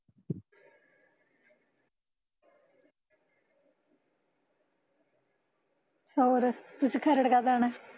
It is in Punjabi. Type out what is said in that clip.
ਹੋਰ, ਤੁਸੀਂ ਖਰੜ ਕਦ ਆਉਣਾ